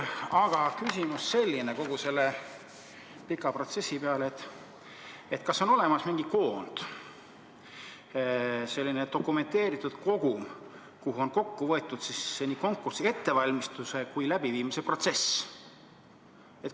Aga minu küsimus kogu selle pika protsessi peale on: kas on olemas mingi koondmaterjal, selline dokumenteeritud kogum, kuhu on kokku võetud nii konkursi ettevalmistuse kui ka läbiviimise protsess?